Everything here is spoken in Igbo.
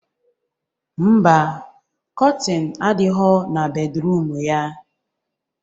Mba, kọtịn adighọ na bedruum ya.